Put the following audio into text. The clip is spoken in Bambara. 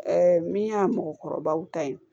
min y'a mɔgɔkɔrɔbaw ta ye